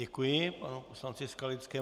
Děkuji panu poslanci Skalickému.